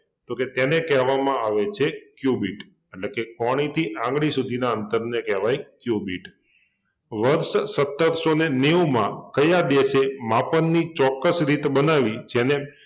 તો કે તેને કહેવામાં આવે છે ક્યુબિટ એટલે કે કોણીથી આંગળી સુધીના અંતરને કેવાય ક્યુબિટ વર્ષ સત્તરસોને નેવુમાં કયા દેશે માપનની ચોક્કસ રીત બનાવી જેને